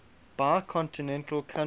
bicontinental countries